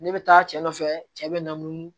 Ne bɛ taa cɛ nɔfɛ cɛ bɛ na n'u